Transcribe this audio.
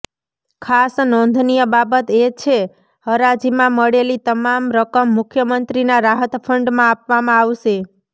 ખાસ નોંધનીય બાબત એ છે હરાજીમાં મળેલી તમામ રકમ મુખ્ય મંત્રીના રાહત ફંડમાં આપવામાં આવશે